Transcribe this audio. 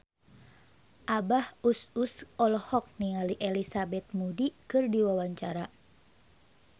Abah Us Us olohok ningali Elizabeth Moody keur diwawancara